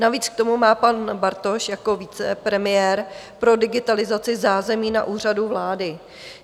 Navíc k tomu má pan Bartoš jako vicepremiér pro digitalizaci zázemí na Úřadu vlády.